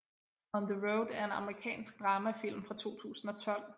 On the Road er en amerikansk dramafilm fra 2012